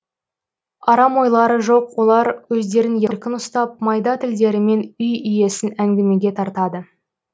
арам ойлары жоқ олар өздерін еркін ұстап майда тілдерімен үй иесін әңгімеге тартады